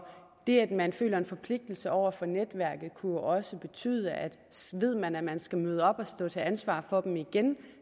det at man føler en forpligtelse over for netværket kunne også betyde at så ved man at man skal møde op og stå til ansvar for dem igen